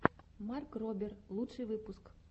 марк робер лучший выпуск